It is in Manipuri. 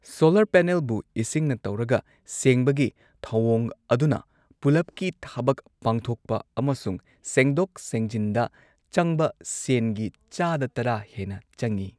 ꯁꯣꯂꯔ ꯄꯦꯅꯦꯜꯕꯨ ꯏꯁꯤꯡꯅ ꯇꯧꯔꯒ ꯁꯦꯡꯕꯒꯤ ꯊꯧꯑꯣꯡ ꯑꯗꯨꯅ ꯄꯨꯂꯞꯀꯤ ꯊꯕꯛ ꯄꯥꯡꯊꯣꯛꯄ ꯑꯃꯁꯨꯡ ꯁꯦꯡꯗꯣꯛ ꯁꯦꯡꯖꯤꯟꯗ ꯆꯪꯕ ꯁꯦꯟꯒꯤ ꯆꯥꯗ ꯇꯔꯥ ꯍꯦꯟꯅ ꯆꯪꯉꯤ꯫